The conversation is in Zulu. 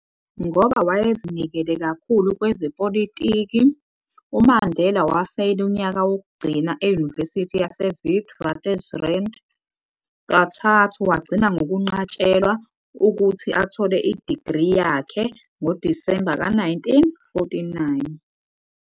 Ngoba wayesezinikele kakhulu kwezepolitiki, uMandela wafeyila unyaka wokugcina eYunivesithi yaseWitwatersrand, kathathu, wagcina ngokunqatshelwa ukuthi athole idigri yakhe ngoDisemba ka-1949.